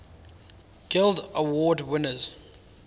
guild award winners